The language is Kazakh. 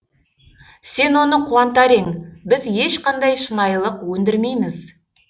сен оны қуантар ең біз ешқандай шынайылық өндірмейміз